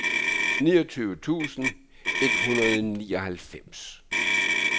niogtyve tusind et hundrede og nioghalvfems